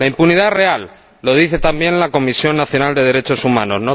La impunidad real, lo dice también la Comisión Nacional de Derechos Humanos.